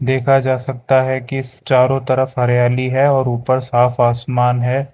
देखा जा सकता है कि चारों तरफ हरियाली है और ऊपर साफ आसमान है।